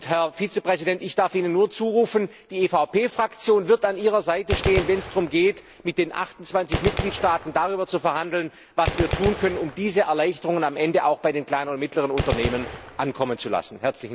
Herr Vizepräsident, ich darf Ihnen zurufen Die EVP Fraktion wird an Ihrer Seite stehen, wenn es darum geht, mit den 28 Mitgliedstaaten darüber zu verhandeln, was wir tun können, um diese Erleichterungen am Ende auch bei den kleinen und mittleren Unternehmen ankommen zu lassen.